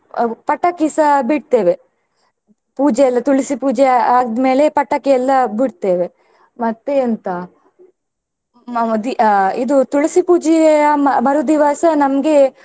ಅಹ್ ಪಟಾಕಿಸ ಬಿಡ್ತೇವೆ ಪೂಜೆ ಎಲ್ಲಾ ತುಳಸಿ ಪೂಜೆ ಆದ್ಮೇಲೆ ಪಟಾಕಿ ಎಲ್ಲಾ ಬಿಡ್ತೇವೆ. ಮತ್ತೆ ಎಂತ ಅಹ್ ಇದು ತುಳಸಿ ಪೂಜೆಯ ಮರುದಿವಸ ನಮ್ಗೆ.